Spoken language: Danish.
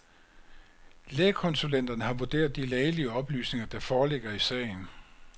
Lægekonsulenterne har vurderet de lægelige oplysninger, der foreligger i sagen.